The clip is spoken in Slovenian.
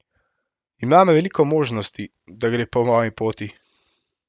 Ima veliko možnosti, da gre po moji poti.